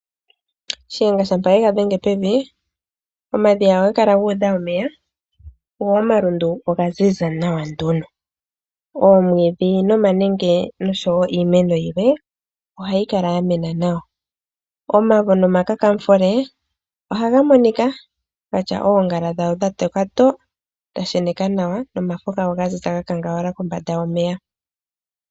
Shiyenga shampa ye ga dhenge pevi, omadhiya ohaga kala gu udha omeya go omalundu oga ziza nawa nduno. Oomwiidhi nomanenge noshowo iimeno yilwe ohayi kala ya mena nawa. Omavo nomakakamufule ohaga monika ga tya oongala dhago dha toka to, dha sheneka nawa nomafo gago ga ziza ga kangawala kombanda yomeya.